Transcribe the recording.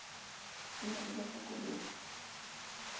e ne e ba fokoletsa